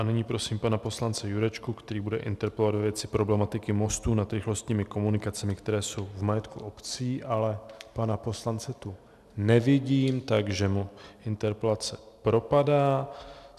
A nyní prosím pana poslance Jurečku, který bude interpelovat ve věci problematiky mostů nad rychlostními komunikacemi, které jsou v majetku obcí, ale pana poslance tu nevidím, takže mu interpelace propadá.